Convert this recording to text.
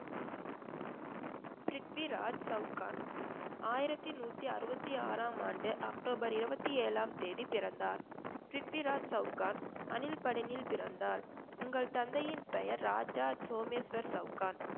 பிரித்விராஜ் சவுகான் ஆயிரத்தி நூத்தி அறுபத்தி ஆறாம் ஆண்டு அக்டோபர் இருபத்தி ஏழாம் தேதி பிறந்தார். பிரித்விராஜ் சவுகான் அணில்படனில் பிறந்தார் உங்கள் தந்தையின் பெயர் ராஜா சோமேஸ்வர் சவுகான்